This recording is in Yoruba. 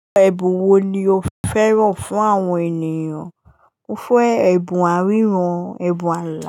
Ẹ̀bùn wo ni o fẹ́ràn fún àwọn ènìyàn? Mo fẹ́ ẹ̀bùn aríran, ẹ̀bùn ala.